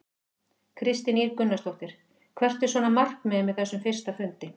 Kristín Ýr Gunnarsdóttir: Hvert er svona markmiðið með þessum fyrsta fundi?